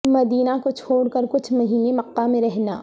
مدینہ کو چھوڑ کر کچھ مہینے مکہ میں رہنا